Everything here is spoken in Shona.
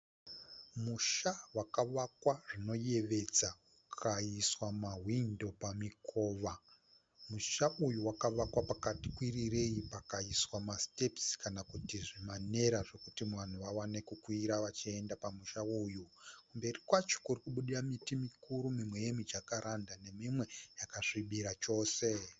Musha wakavakwa zvinoyevedza ukaiswa mahwindo pamikova. Musha uyu wakavakwa pakati kwirirei pakaiswa masitepisi kana kuti zvimanera zvokuti vanhu vawane kukwira vachienda pamusha uyu. Kumberi kwacho kurikubudira miti mikuru mimwe yemijakaranda nemimwe yakasvibira zvikuru.